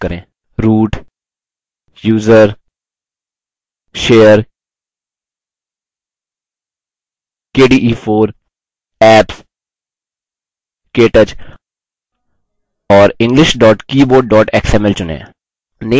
root> usr> share> kde4> apps> ktouch और english ktouch xml चुनें